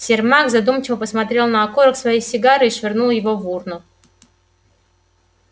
сермак задумчиво посмотрел на окурок своей сигары и швырнул его в урну